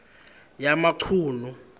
yamachunu